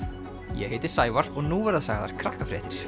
ég heiti Sævar og nú verða sagðar